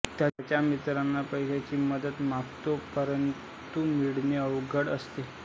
त्याच्या मित्रांना पैशाची मदत मागतो परंतु मिळणे अवघड असते